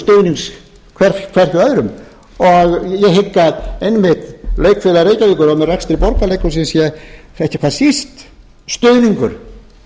stuðnings hver hjá öðrum ég hygg að einmitt leikfélag reykjavíkur og með rekstri borgarleikhúsinu sé ekki hvað síst stuðningur